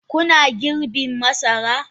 Kuna girbin masara?